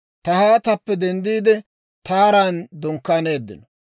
Tahaatappe denddiide, Taaran dunkkaaneeddino.